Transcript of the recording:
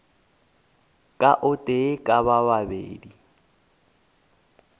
ka o tee ka babedi